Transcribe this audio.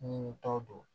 Ni tɔ don